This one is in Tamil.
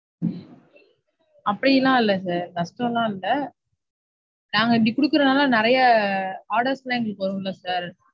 அப்படிலாம் இல்ல sir. கஷ்டம்லாம் இல்ல. நாங்க அப்படி கொடுக்கறதால நிறைய orders லாம் எங்களுக்கு வரும் இல்ல sir.